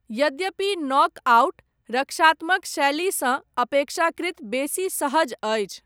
यद्यपि नॉकआउट, रक्षात्मक शैलीसँ, अपेक्षाकृत बेसी सहज अछि।